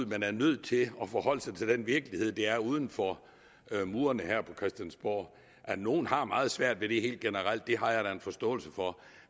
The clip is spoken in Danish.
men er nødt til at forholde sig til den virkelighed der er uden for murene her på christiansborg at nogen har meget svært ved det helt generelt har jeg da en forståelse for